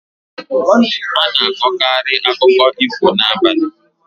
Ana akọkari akụkọ ifo n'abalị